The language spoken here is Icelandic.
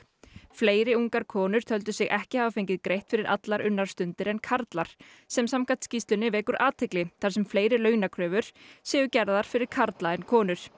fleiri ungar konur töldu sig ekki hafa fengið greitt fyrir allar unnar stundir en karlar sem samkvæmt skýrslunni vekur athygli þar sem fleiri launakröfur séu gerðar fyrir karla en konur